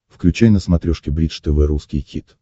включай на смотрешке бридж тв русский хит